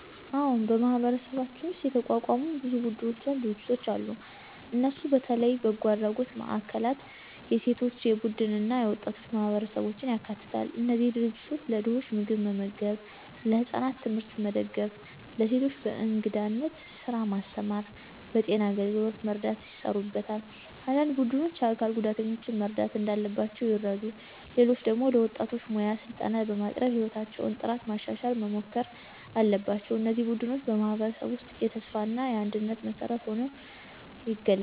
አዎን፣ በማህበረሰባችን ውስጥ የተቋቋሙ ብዙ ቡድኖችና ድርጅቶች አሉ። እነሱ በተለይ በጎ አድራጎት ማዕከላት፣ የሴቶች ቡድኖች እና የወጣቶች ማህበረሰቦችን ያካትታሉ። እነዚህ ድርጅቶች ለድኾች ምግብ መመገብ፣ ለህፃናት ትምህርት መደጋገፍ፣ ለሴቶች በእንግዳነት ስራ ማስተማር እና በጤና አገልግሎት መርዳት ይሰሩበታል። አንዳንድ ቡድኖች የአካል ጉዳተኞችን መርዳት እንዳለባቸው ይረዱ፣ ሌሎች ደግሞ ለወጣቶች ሙያ ስልጠና በማቅረብ የሕይወታቸውን ጥራት ማሻሻል መሞከር አለባቸው። እነዚህ ቡድኖች በማህበረሰብ ውስጥ የተስፋ እና የአንድነት መሠረት ሆነው ይገለጣሉ።